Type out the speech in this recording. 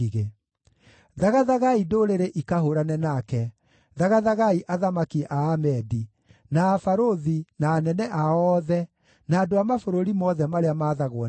Thagathagai ndũrĩrĩ ikahũũrane nake; thagathagai athamaki a Amedi, na abarũthi, na anene ao othe, na andũ a mabũrũri mothe marĩa maathagwo nĩo.